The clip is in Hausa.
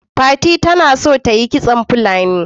fati ta na son ta Yi kitson Fulani.